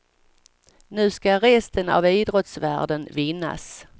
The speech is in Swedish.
Nu ska resten av idrottsvärlden vinnas.